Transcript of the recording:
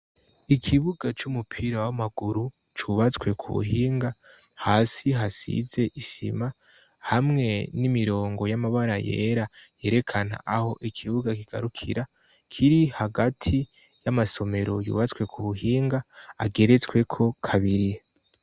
ikibuga c'umupira w'amaguru cubatswe ku buhinga hasi hasize isima hamwe n'imirongo y'amabara yera yerekana aho ikibuga kigarukira kiri hagati y'amasomero yubatswe ku buhinga ageretsweko kabiri